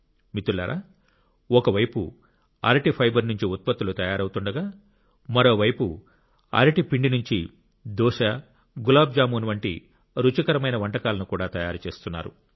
మిత్రులారా ఒక వైపు అరటి ఫైబర్ నుంచి ఉత్పత్తులు తయారవుతుండగా మరోవైపు అరటి పిండి నుంచి దోస గులాబ్ జామున్ వంటి రుచికరమైన వంటకాలను కూడా తయారు చేస్తున్నారు